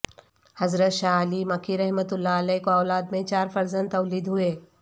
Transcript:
حضرت شاہ علی مکی رحمت اللہ علیہ کو اولاد میں چار فرزند تولد ہوئے